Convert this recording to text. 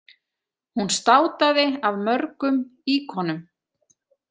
Hún státaði af mörgum íkonum.